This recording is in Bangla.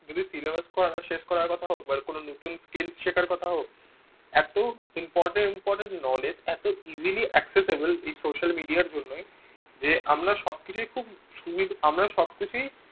যদি syllabus শেষ করার কথা হোক বা নতুন কোনো skill শেখার কথা হোক এত important important knowledge easily accessible এই social media র জন্যই আমরা সবকিছুই খুব সুবিধা আমরা সব কিছুই